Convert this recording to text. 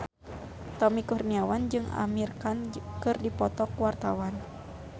Tommy Kurniawan jeung Amir Khan keur dipoto ku wartawan